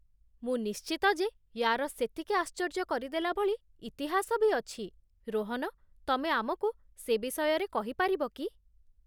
ମୁଁ ନିଶ୍ଚିତ ଯେ ୟାର ସେତିକି ଆଶ୍ଚର୍ଯ୍ୟ କରିଦେଲା ଭଳି ଇତିହାସ ବି ଅଛି, ରୋହନ, ତମେ ଆମକୁ ସେ ବିଷୟରେ କହିପାରିବ କି?